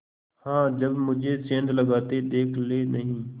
हाँ जब मुझे सेंध लगाते देख लेनहीं